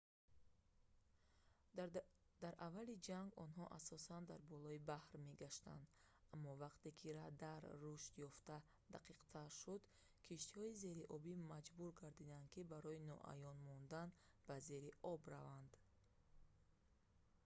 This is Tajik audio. дар аввали ҷанг онҳо асосан дар болои баҳр мегаштанд аммо вақте ки радар рушд ёфта дақиқтар шуд киштиҳои зериобӣ маҷбур гардиданд ки барои ноаён мондан ба зери об раванд